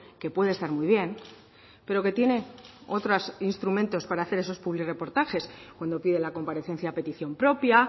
que puede estar muy bien pero que tiene otros instrumentos para hacer esos publirreportajes cuando pide la comparecencia a petición propia